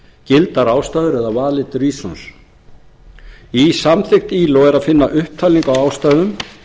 gildar ástæður eða valid reasons í samþykkt ilo er að finna upptalningu á ástæðum